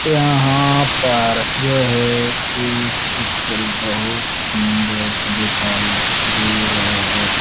यहाँ पर यह एक चित्र बहोत सुन्दर दिखाई दे रहा है।